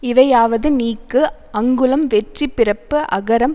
இவையாவது நீக்கு அங்குளம் வெற்றி பிறப்பு அகரம்